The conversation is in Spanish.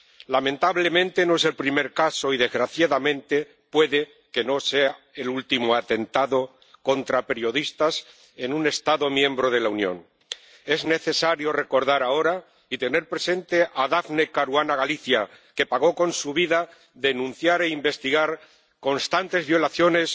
Lamentablemente, no es el primer caso y, desgraciadamente, puede que no sea el último atentado contra periodistas en un Estado miembro de la Unión. Es necesario recordar ahora y tener presente a Daphne Caruana Galizia, que pagó con su vida denunciar e investigar constantes violaciones